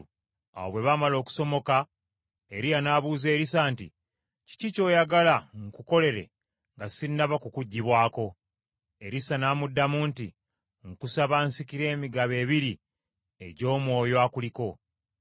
Awo bwe baamala okusomoka, Eriya n’abuuza Erisa nti, “Kiki ky’oyagala nkukolere nga sinnaba kukuggyibwako?” Erisa n’amuddamu nti, “Nkusaba, nsikire emigabo ebiri egy’Omwoyo akuliko.”